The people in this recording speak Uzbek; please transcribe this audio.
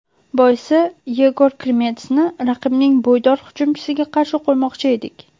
Boisi Yegor Krimetsni raqibning bo‘ydor hujumchisiga qarshi qo‘ymoqchi edik.